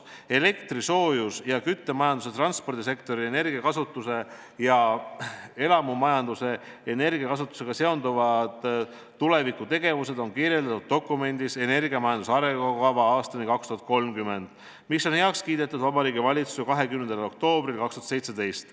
Elektri-, soojus- ja küttemajanduse, transpordisektori ja elamumajanduse energiakasutusega seonduvad tulevikutegevused on kirjeldatud dokumendis "Energiamajanduse arengukava aastani 2030", mis on Vabariigi Valitsuses heaks kiidetud 20. oktoobril 2017.